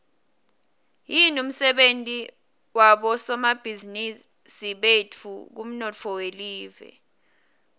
yini umsebenti wabosomabhizimisi betfu kumnotfo welive